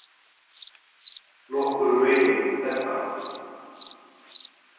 Nokkurn veginn þetta.